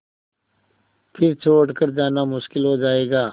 फिर छोड़ कर जाना मुश्किल हो जाएगा